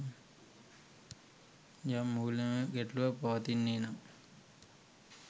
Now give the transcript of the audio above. යම් මූල්‍යමය ගැටලුවක් පවතින්නේනම්